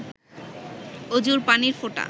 অজুর পানির ফোঁটা